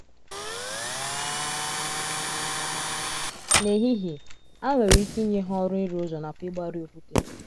N’ehihie, a nwere ike inye ha ọrụ ịrụ ụzọ nakwa ịgbari okwute.